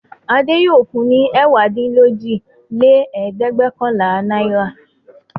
Adé yóò fun ní ẹ̀wádínlójìlẹ́ẹ̀dẹ́gbẹ̀ọ̀kànlá náírà!